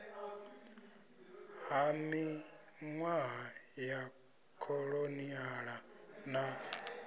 ha minwaha ya kholoniala na